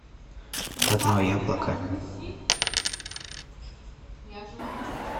одно яблоко